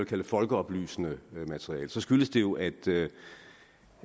kalde folkeoplysende materiale skyldes det jo at